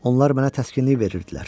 Onlar mənə təskinlik verirdilər.